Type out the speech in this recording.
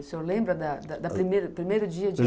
O senhor lembra da da da primeiro primeiro dia de